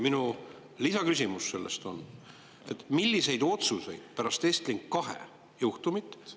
Minu lisaküsimus on, milliseid otsuseid pärast Estlink 2 juhtumit …